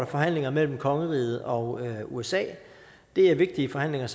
forhandlinger mellem kongeriget og usa det er vigtige forhandlinger